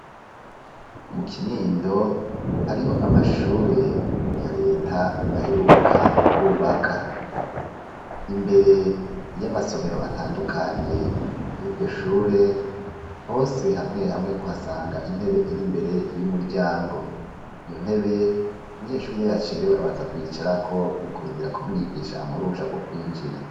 Mu kinindo, hariho amashure ya leta ,baheruka kwubaka; imbere y'amasomero atandukanye, y'iryo shure, hose, hamwe hamwe, uhasanga intebe iri imbere y'umuryango; iyo ntebe, umunyeshure iyo yacerewe, abanza kuyicarako, mu kurindira ko, umwigisha amuha uruhusha rwo kwinjira.